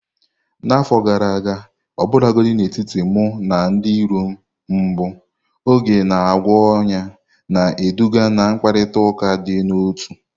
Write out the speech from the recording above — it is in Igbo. N'afọ gara aga, ọbụlagodi n'etiti mụ na ndị iro m mbụ, oge na-agwọ ọnyá, na-eduga ná mkparịta ụka dị n'otu.